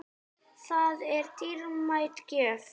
Það var dýrmæt gjöf.